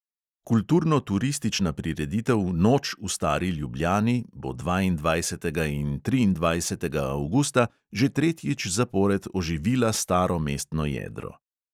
Kulturno-turistična prireditev noč v stari ljubljani bo dvaindvajsetega in triindvajsetega avgusta že tretjič zapored oživila staro mestno jedro.